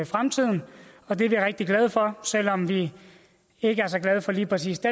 fremtiden og det er vi rigtig glade for selv om vi ikke er så glade for lige præcis det